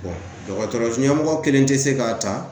dɔgɔtɔrɔ ɲɛmɔgɔ kelen tɛ se k'a ta